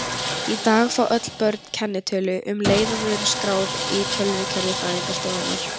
Í dag fá öll börn kennitölu um leið og þau eru skráð í tölvukerfi fæðingarstofnunar.